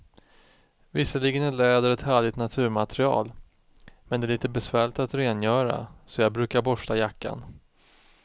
Visserligen är läder ett härligt naturmaterial, men det är lite besvärligt att rengöra, så jag brukar borsta jackan.